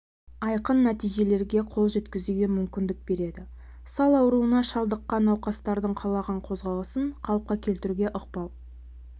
айқын нәтижелерге қол жеткізуге мүмкіндік береді сал ауруына шалдыққан науқастардың қалаған қозғалысын қалыпқа келтіруге ықпал